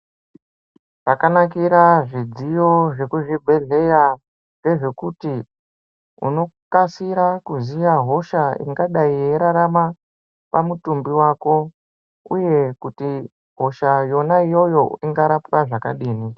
Zvakanakira zvidziyo zvezvibhedhlera ndezvekuti unokasira kuziva hosha ingadai yeirarama pamutumbi wako uye kuti hosha yona iyoyo ingarapwa zvakadini.